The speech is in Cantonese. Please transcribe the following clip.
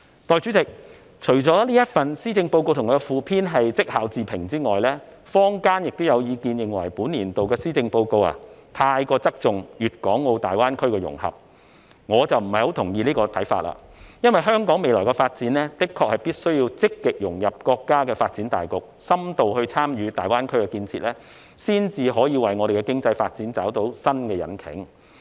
代理主席，施政報告及其附篇除了被認為是績效自評外，坊間亦有意見認為本年度的施政報告太側重大灣區的融合，但我卻不太同意這個看法，因為就香港未來的發展，我們的確必須積極融入國家的發展大局，深度參與大灣區建設，這樣，我們才能為香港經濟發展找到新引擎。